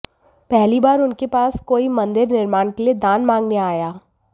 पहली बार उनके पास कोई मंदिर निर्माण के लिए दान मांगने आया